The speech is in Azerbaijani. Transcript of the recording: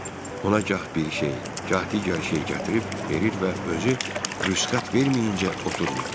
Ona gah bir şey, gah digər şeyi gətirib verir və özü rüsxət verməyincə oturmurduq.